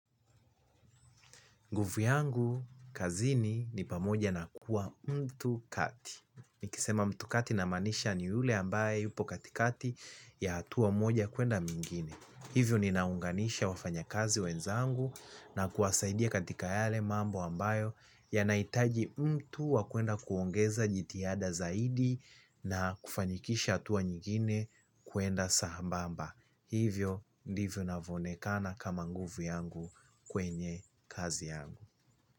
Nguvu yangu kazini ni pamoja na kuwa mtu kati. Nikisema mtu kati namaanisha ni yule ambaye yupo katikati ya hatua moja kuenda mingine. Hivyo ninaunganisha wafanyakazi wenzangu na kuwasaidia katika yale mambo ambayo yanahitaji mtu wa kwenda kuongeza jitihada zaidi na kufanyikisha hatua nyingine kwenda sambamba. Hivyo ndivyo navoonekana kama nguvu yangu kwenye kazi yangu.